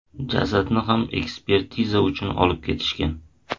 Jasadni ham ekspertiza uchun olib ketishgan.